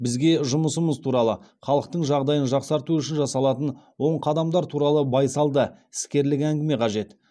бізге жұмысымыз туралы халықтың жағдайын жақсарту үшін жасалатын оң қадамдар туралы байсалды іскерлік әңгіме қажет